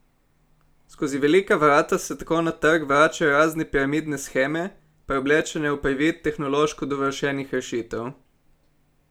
Skozi velika vrata se tako na trg vračajo razne piramidne sheme, preoblečene v privid tehnološko dovršenih rešitev.